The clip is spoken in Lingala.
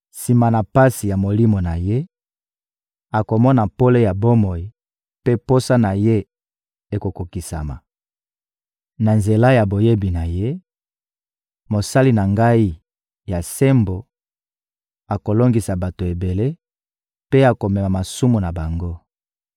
Sima na pasi ya molimo na ye, akomona pole ya bomoi mpe posa na ye ekokokisama. Na nzela ya boyebi na ye, Mosali na Ngai ya sembo akolongisa bato ebele mpe akomema masumu na bango.